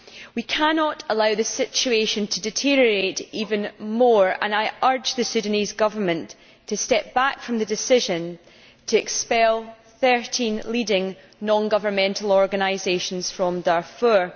We cannot allow this situation to deteriorate even more, and I urge the Sudanese Government to step back from the decision to expel 13 leading non governmental organisations from Darfur.